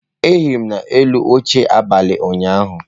Ehiri m n'elu oche abalị ụnyaahụ.